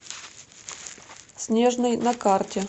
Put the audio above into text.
снежный на карте